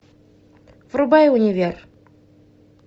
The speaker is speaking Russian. врубай универ